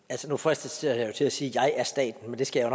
altså nu fristes jeg jo til at sige jeg er staten men det skal jeg